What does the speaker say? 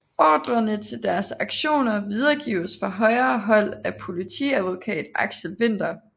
Ordrerne til deres aktioner videregives fra højere hold af politiadvokat Aksel Winther